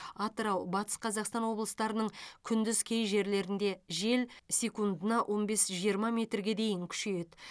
атырау батыс қазақстан облыстарының күндіз кей жерлерінде жел секундына он бес жиырма метрге дейін күшейеді